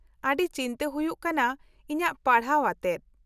-ᱟᱹᱰᱤ ᱪᱤᱱᱛᱟᱹ ᱦᱩᱭᱩᱜ ᱠᱟᱱᱟ ᱤᱧᱟᱹᱜ ᱯᱟᱲᱦᱟᱣ ᱟᱛᱮ ᱾